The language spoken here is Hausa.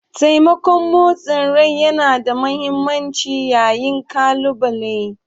Taimakon motsin rai yana da mahimmanci yayin kalubale